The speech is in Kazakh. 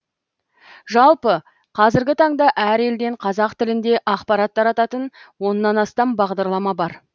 жалпы қазіргі таңда әр елден қазақ тілінде ақпарат тарататын оннан астам бағдарлама бар